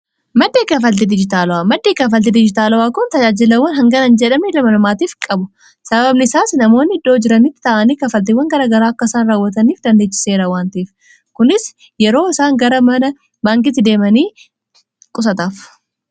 maddii kafalti dijitaalawaa maddii kafalti dijitaala'aa kun tajaajilawwan hangana jedhame 2amalumaatiif qabu sababbni isaas namoonni iddoo jiranitti ta'anii kafaltiiwwan garagaraa akkasaan raawwataniif dandeechiseera waantiif kunis yeroo isaan gara mana baankiti deemanii qusataaf